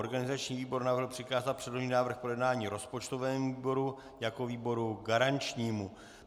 Organizační výbor navrhl přikázat předložený návrh k projednání rozpočtovému výboru jako výboru garančnímu.